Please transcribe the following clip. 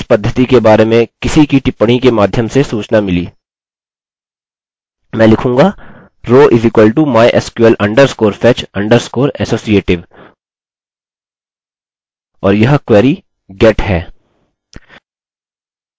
मुझे इस पद्धति के बारे में किसी की टिप्पणी के माध्यम से सूचना मिली मैं लिखूँगा row = mysql_fetch_associative और यह query get है